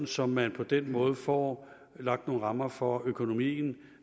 så man på den måde får lagt nogle rammer for økonomien